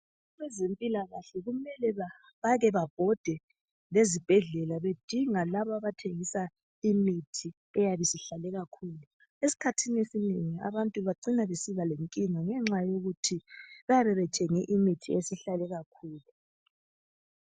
Abezempilakahle kumele bake babhode lezibhedlela bedinga laba abathengisa imithi eyabi isihlale kakhulu esikhathini esinengi abantu bacina besiba lencinga yenxa yokuthi bayabe bethenge imithi esihlale kakhulu.